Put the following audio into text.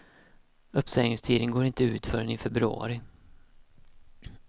Uppsägningstiden går inte ut förrän i februari.